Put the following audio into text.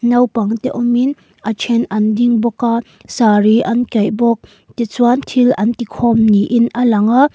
naupang te awmin a then an ding bawk a saree an kaih bawk tichuan thil an ti khawm niin a lang a.